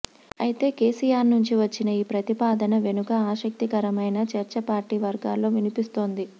అయితే కేసీఆర్ నుంచి వచ్చిన ఈ ప్రతిపాదన వెనుక ఆసక్తికరమైన చర్చ పార్టీ వర్గాల్లో వినిపిస్తోంది